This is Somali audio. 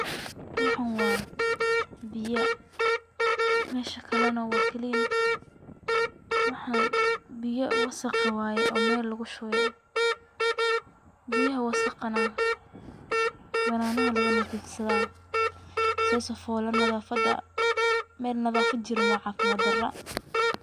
Waxan waa biya mesha kale na waa clean waxan biya wasaqe waye oo Mel lugu shube, biyaha wasaqana bananaha laga nadiifsada say sifole nadaafada, Mel nadaafad jirin waa caafimad dara